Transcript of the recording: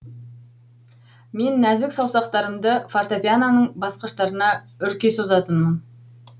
мен нәзік саусақтарымды фортепианоның басқыштарына үрке созатынмын